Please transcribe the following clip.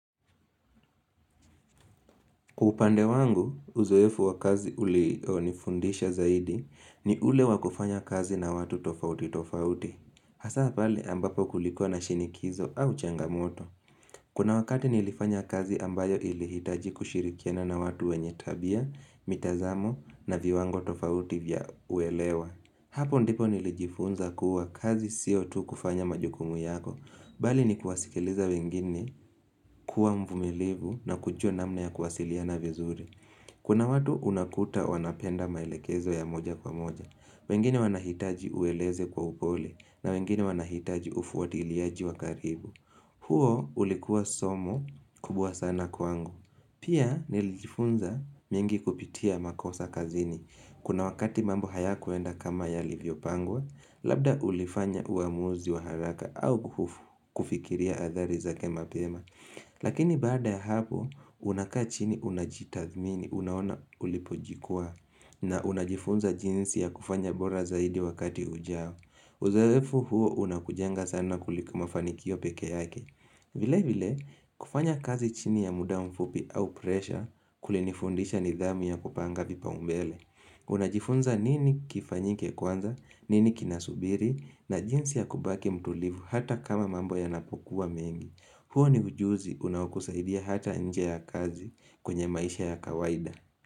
Upande wangu uzoefu wa kazi ulionifundisha zaidi ni ule wa kufanya kazi na watu tofauti tofauti. Hasa pale ambapo kulikuwa na shinikizo au changamoto. Kuna wakati nilifanya kazi ambayo ilihitaji kushirikiana na watu wenye tabia, mitazamo na viwango tofauti vya uelewa. Hapo ndipo nilijifunza kuwa kazi sio tu kufanya majukumu yako. Mbali ni kuwasikiliza wengine kuwa mvumilivu na kujua namna ya kuwasiliana vizuri. Kuna watu unakuta wanapenda maelekezo ya moja kwa moja. Wengine wanahitaji ueleze kwa upole na wengine wanahitaji ufuatiliaji wa karibu. Huo ulikuwa somo kubwa sana kwangu. Pia nilijifunza mengi kupitia makosa kazini. Kuna wakati mambo hayakuenda kama yalivyopangwa, Labda ulifanya uamuzi wa haraka au kufikiria athari zake mapema Lakini baada ya hapo unakaa chini unajitathmini unaona ulipojikwaa na unajifunza jinsi ya kufanya bora zaidi wakati ujao Uzoefu huo unakujanga sana kuliko mafanikio peke yake vile vile kufanya kazi chini ya muda mfupi au presha kulinifundisha nidhamu ya kupanga vipaumbele Unajifunza nini kifanyike kwanza nini kinasubiri na jinsi ya kubaki mtulivu hata kama mambo yanapokuwa mengi huo ni ujuzi unaokusaidia hata nje ya kazi kwenye maisha ya kawaida.